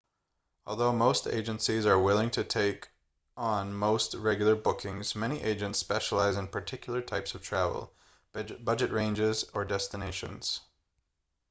although most agencies are willing to take on most regular bookings many agents specialise in particular types of travel budget ranges or destinations